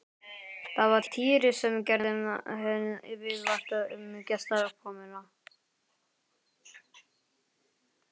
Það var Týri sem gerði henni viðvart um gestakomuna.